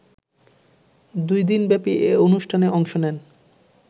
দুই দিনব্যাপী এ অনুষ্ঠানে অংশ নেন